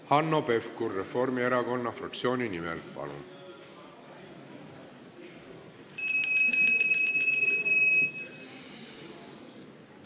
Hanno Pevkur Reformierakonna fraktsiooni nimel, palun!